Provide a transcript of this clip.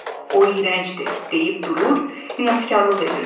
O iyrəncdir, deyib durur, inadkarlıq edirdi.